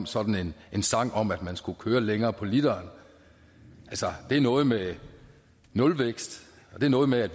sådan en sang om at man skulle køre længere på literen altså det er noget med nulvækst og det er noget med at